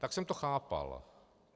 Tak jsem to chápal.